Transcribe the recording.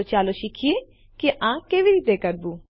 તો ચાલો શીખીએ આ કેવી રીતે કરવું